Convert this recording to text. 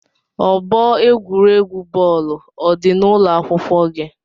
Ọgbọ egwuregwu bọọlu ọ dị n'ụlọ akwụkwọ gị?